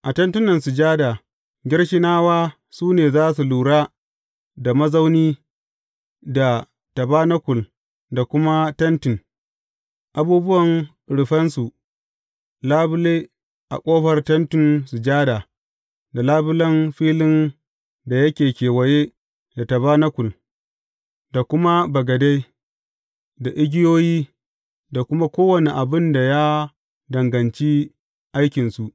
A Tentin Sujada, Gershonawa su ne za su lura da mazauni da tabanakul da kuma tentin, abubuwan rufensa, labule a ƙofar Tentin Sujada, da labulen filin da yake kewaye da tabanakul da kuma bagade, da igiyoyi, da kuma kowane abin da ya danganci aikinsu.